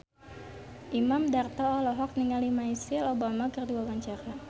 Imam Darto olohok ningali Michelle Obama keur diwawancara